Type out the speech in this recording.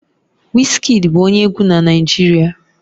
Wizkid bụ onye egwu na Naịjirịa